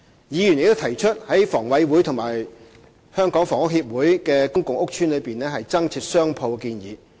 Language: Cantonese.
議員亦提出在房委會和香港房屋協會的公共屋邨內增設商鋪的建議。